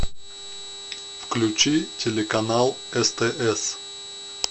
включи телеканал стс